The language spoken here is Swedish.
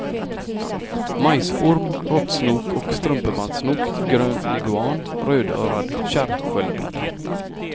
Majsorm, råttsnok och strumpebandssnok, grön leguan, rödörad kärrsköldpadda.